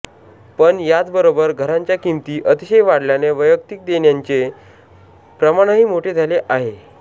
पण याचबरोबर घरांच्या किंमती अतिशय वाढल्याने वैयक्तिक देण्यांचे प्रमाणही मोठे झाले आहे